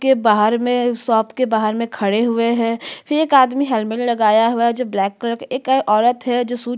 के बाहर में शॉप के बाहर में खड़े हुए है फिर एक आदमी हेलमेट लगया हुआ है जो ब्लैक कलर के एक औरत है जो शूट --